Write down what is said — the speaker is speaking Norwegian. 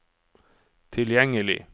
tilgjengelig